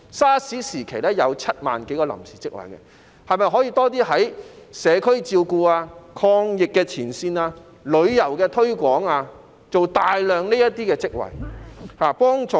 SARS 時期有7萬多個臨時職位，政府是否可以在社區照顧、抗疫前線和旅遊推廣方面提供大量職位，從而提供協助？